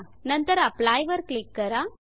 नंतर एप्ली अप्लाइवर क्लिक करा